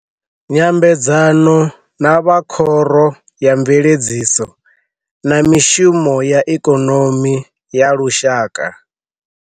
Nyambedzano na vha Khoro ya Mveledziso na Mishumo ya Ikonomi ya Lushaka.